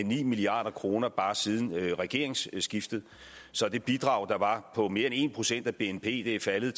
ni milliard kroner bare siden regeringsskiftet så det bidrag der var på mere end en procent af bnp er faldet